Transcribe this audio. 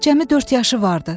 Cəmi dörd yaşı vardı.